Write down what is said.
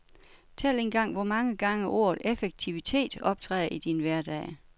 Tæl engang, hvor mange gange ordet effektivitet optræder i din hverdag.